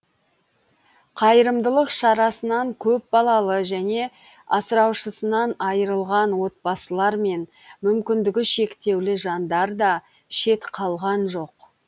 қайырымдылық шарасынан көпбалалы және асыраушысынан айырылған отбасылар мен мүмкіндігі шектеулі жандар да шет қалған жоқ